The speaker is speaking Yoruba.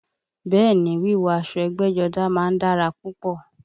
Bẹ́ẹ̀ ni, wíwọ̀ aṣọ ẹgbẹ́jọdá má ń dára púpọ̀